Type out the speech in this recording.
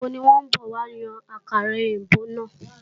Ìgbàwo ní wọ́n bọ̀ wá yan àkàrà èbó náà?